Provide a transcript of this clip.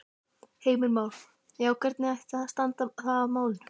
Heimir Már: Já, hvernig ætti þá að standa að málum?